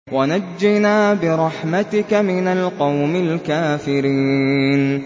وَنَجِّنَا بِرَحْمَتِكَ مِنَ الْقَوْمِ الْكَافِرِينَ